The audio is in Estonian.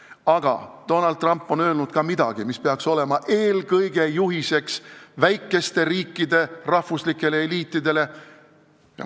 Aga Donald Trump on öelnud ka midagi, mis peaks olema juhiseks eelkõige väikeste riikide rahvuslikele eliitidele.